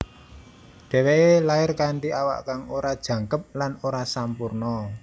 Dhèwèké lair kanthi awak kang ora jangkep lan ora sampurna